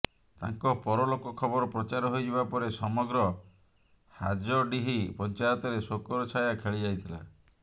ତାଙ୍କ ପରଲୋକ ଖବର ପ୍ରଚାର ହୋଇଯିବା ପରେ ସମଗ୍ର ହାଯଡିହି ପଞ୍ଚାୟତରେ ଶୋକର ଛାୟା ଖେଳିଯାଇଥିଲା